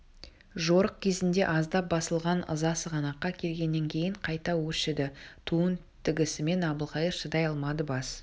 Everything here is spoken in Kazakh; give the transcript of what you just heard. жорық кезінде аздап басылған ыза сығанаққа келгеннен кейін қайта өршіді туын тігісімен әбілқайыр шыдай алмады бас